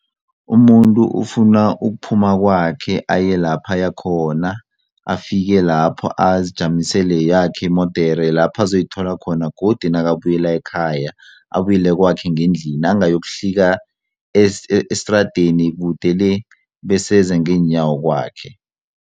Umuntu ufuna ukuphuma kwakhe aye lapha ayakhona afike lapho azijamisele yakhe imodere lapha azoyithola khona godu nakabuyela ekhaya abuyele kwakhe ngendlini angayokuhlika esitradeni kude le bese eze ngeenyawo kwakhe.